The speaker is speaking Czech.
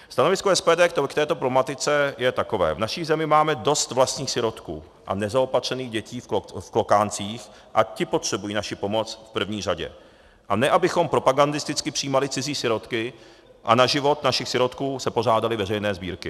Stanovisko SPD k této problematice je takové: V naší zemi máme dost vlastních sirotků a nezaopatřených dětí v klokáncích a ti potřebují naši pomoc v první řadě, a ne abychom propagandisticky přijímali cizí sirotky a na život našich sirotků se pořádaly veřejné sbírky.